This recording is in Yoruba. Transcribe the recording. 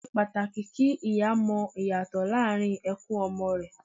Ó ṣe pàtàkì kí ìyá mọ ìyàtọ̀ láàrín ẹkún ọmọ rẹ